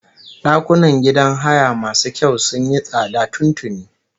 Ɗakunan gidan haya masu kyau sun yi tsada tun tuni